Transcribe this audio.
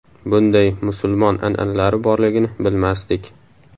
Bunday musulmon an’analari borligini bilmasdik.